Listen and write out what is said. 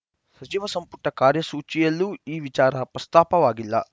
ಸಚಿವ ಸಂಪುಟ ಕಾರ್ಯಸೂಚಿಯಲ್ಲೂ ಈ ವಿಚಾರ ಪ್ರಸ್ತಾಪವಾಗಿಲ್ಲ